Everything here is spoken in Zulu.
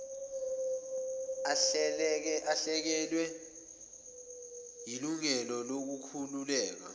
alahlekelwe yilungelo lokukhululeka